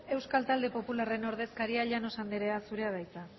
euskal talde popularraren ordezkaria llanos anderea zurea da hitza